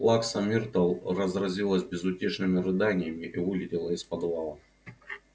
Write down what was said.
плакса миртл разразилась безутешными рыданиями и вылетела из подвала